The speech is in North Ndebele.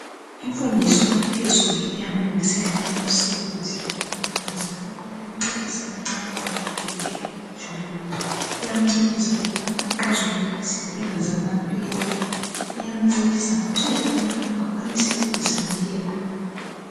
Imfundiso yaphezulu iyamlungiselela umsebenzi umuntu njalo iyamncedisa imicabango yakhe ihlale ijulile. Iyamncedisa ukubana axazulule izinkinga zakhe zamampela. Iyamncedisa futhi ukubana akwanise ukuzimela.